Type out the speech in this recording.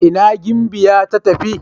ina gimbiya ta tafi?